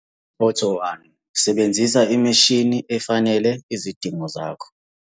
Photo 1- Sebenzisa imishini efanele izidingo zakho.